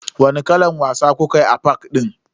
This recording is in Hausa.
Wani kalan wasa kukayi a fak din?